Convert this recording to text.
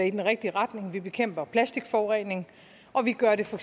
i den rigtige retning vi bekæmper plastikforurening og vi gør det for